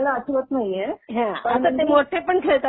लहानपणी खेळलेलं आठवत नाहीये, पण